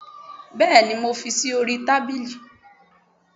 bẹẹni mo fí sí orí tábilí